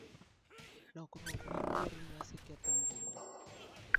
Lokruok mar kor lwasi ketho ngima.